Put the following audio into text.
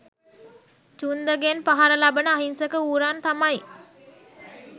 චුන්දගෙන් පහර ලබන අහිංසක ඌරන් තමයි.